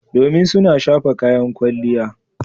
Domin suna shafa kayan kwalliya.